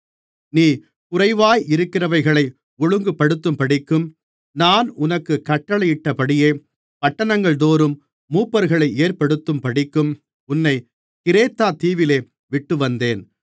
நீ குறைவாயிருக்கிறவைகளை ஒழுங்குபடுத்தும்படிக்கும் நான் உனக்குக் கட்டளையிட்டபடியே பட்டணங்கள்தோறும் மூப்பர்களை ஏற்படுத்தும்படிக்கும் உன்னைக் கிரேத்தா தீவிலே விட்டுவந்தேன்